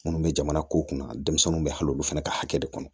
Minnu bɛ jamana ko kunna denmisɛnninw bɛ hali olu fana ka hakɛ de kɔnɔ